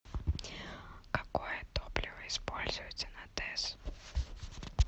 какое топливо используется на тэс